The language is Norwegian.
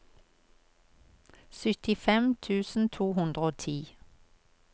syttifem tusen to hundre og ti